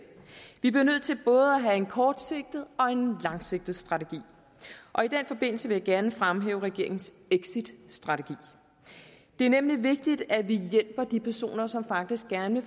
vi bliver nødt til både at have en kortsigtet og en langsigtet strategi og i den forbindelse vil jeg gerne fremhæve regeringens exitstrategi det er nemlig vigtigt at vi hjælper de personer som faktisk gerne